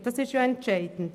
Und das ist entscheidend.